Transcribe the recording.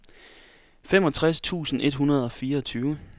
femogtres tusind et hundrede og fireogtyve